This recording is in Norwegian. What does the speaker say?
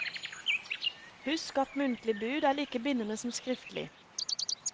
Husk at muntlig bud er like bindende som skriftlig.